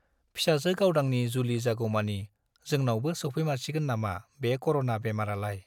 फिसाजो गावदांनि जुलि जागौमानि जोंनावबो सौफैमारसिगोन नामा बे कर'ना बेमारालाय !